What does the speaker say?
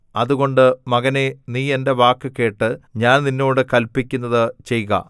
അതുകൊണ്ട് മകനേ നീ എന്റെ വാക്ക് കേട്ട് ഞാൻ നിന്നോട് കല്പിക്കുന്നത് ചെയ്ക